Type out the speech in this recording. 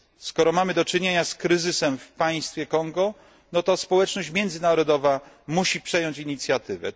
Skoro mamy do czynienia z kryzysem w państwie Kongo, to społeczność międzynarodowa musi przejąć inicjatywę.